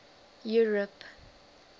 europe